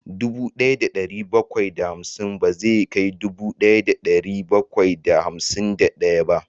Dubu daya da dari bakwai da hamsin bai kai dubu daya da dari bakwai da hamsin da daya ba